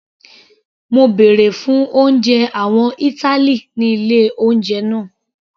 Mo bèrè fún oúnjẹ àwọn ìtàlí ní ilé oúnjẹ náà.